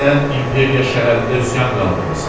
Sən İmperiya şəhərində üsyan qaldırmısan.